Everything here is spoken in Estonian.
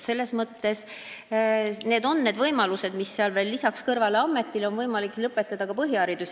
Sellised on seal need lisavõimalused: ameti kõrval on võimalik saada ka põhiharidus.